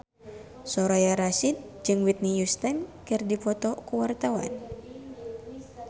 Soraya Rasyid jeung Whitney Houston keur dipoto ku wartawan